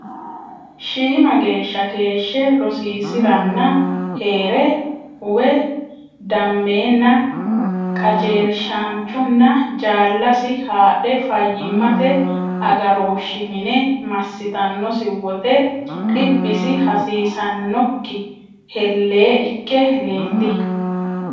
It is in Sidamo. Shiima geeshshe keeshshe rosiisi’ranni hee’re uwe dammeenna qajeelshaanchunna jaallasi haadhe fayyimmate aga- rooshshi mine massitannosi wote dhibbisi hasiissannokki hellee ikke leelli.